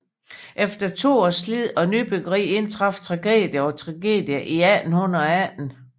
Efter to års slid og nybyggeri indtraf tragedie på tragedie i 1818